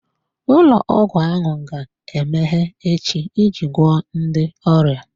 Ụlọ ọgwụ ahụ ga-emeghe echi iji gwọọ ndị ọrịa.